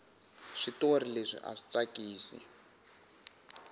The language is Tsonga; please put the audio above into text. switori leswi aswi tsakisi